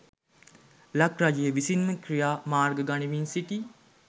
ලක් රජය විසින් ම ක්‍රියා මාර්ග ගනිමින් සිටියි